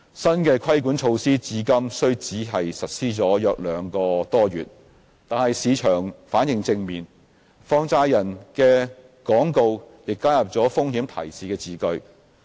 新的規管措施至今雖只實施約兩個多月，但市場反應正面，放債人的廣告也加入了風險提示字句。